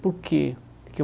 Por que que eu?